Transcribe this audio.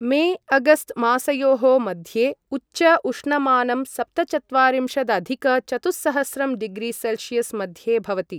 मे अगस्त मासयोः मध्ये उच्च उष्णमानं सप्तचत्वारिंशदधिक चतुःसहस्रं डिग्रि सेल्शीयस् मध्ये भवति।